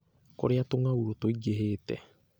Kũrĩa tũng'aurũ tũingĩhĩte.